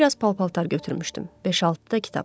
Bir az pal-paltar götürmüşdüm, beş-altı da kitab.